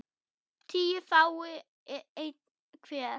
tíu fái einn hver